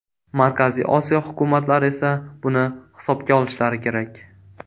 Markaziy Osiyo hukumatlari esa buni hisobga olishlari kerak.